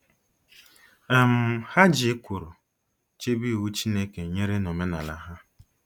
um Ha ji ekworo chebe Iwu Chineke nyere na omenala ha.